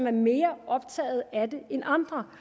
er mere optaget af det end andre